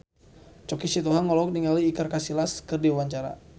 Choky Sitohang olohok ningali Iker Casillas keur diwawancara